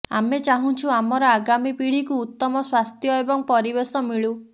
ଆମେ ଚାହୁଁଛୁ ଆମର ଆଗାମୀ ପିଢ଼ିକୁ ଉତ୍ତମ ସ୍ବାସ୍ଥ୍ୟ ଏବଂ ପରିବେଶ ମିଳୁ